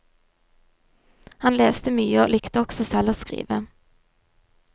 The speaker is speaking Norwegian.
Han leste mye og likte også selv å skrive.